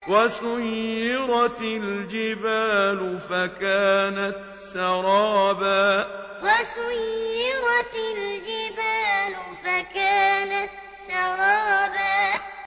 وَسُيِّرَتِ الْجِبَالُ فَكَانَتْ سَرَابًا وَسُيِّرَتِ الْجِبَالُ فَكَانَتْ سَرَابًا